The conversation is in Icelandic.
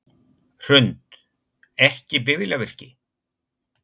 Hrund: Ekki bifvélavirki?